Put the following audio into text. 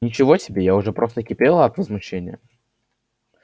ничего себе я уже просто кипела от возмущения